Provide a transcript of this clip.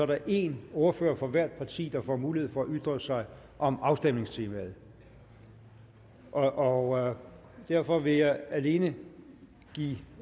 der en ordfører for hvert parti der får mulighed for at ytre sig om afstemningstemaet og og derfor vil jeg alene give